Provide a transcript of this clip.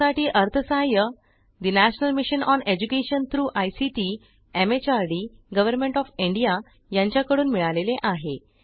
यासाठी अर्थसहाय्य ठे national mission on education through ICT MHRD government of India यांच्या कडून मिळालेले आहे